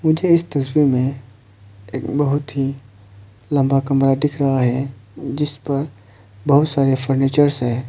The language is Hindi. मुझे इस तस्वीर में एक बहुत ही लंबा कमरा दिख रहा है जिस पर बहुत सारे फर्नीचर्स है।